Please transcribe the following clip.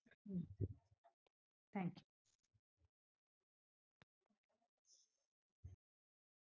Hmm thank you.